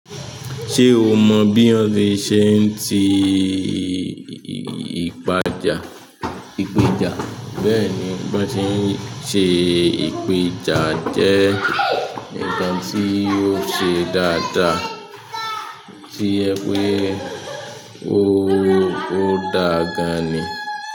Ṣé o mo bí wón ti ṣe ń ti ipaja-- ìpéja? Bẹ́ẹ̀ ni, bí wón ti ń ṣe ìpéja jẹ́ ǹkan tí ó ṣe dáadáa tí ẹ pé ó dáa gan-an ni.